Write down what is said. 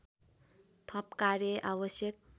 थप कार्य आवश्यक